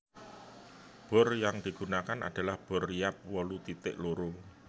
Bor yang digunakan adalah bor riap wolu titik loro